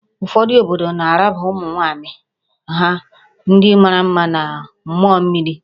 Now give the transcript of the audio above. Ụfọdụ obodo na-arabaga ụmụ nwaanyị ha ndị mara mma na mmụọ mmiri